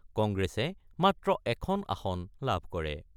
কংগ্ৰেছে মাত্ৰ এখন আসন লাভ কৰে।